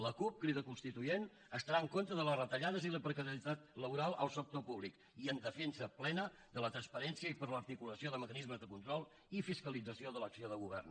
la cup crida constituent estarà en contra de les retallades i la precarietat laboral al sector públic i en defensa plena de la transparència i per a l’articulació de mecanismes de control i fiscalització de l’acció de govern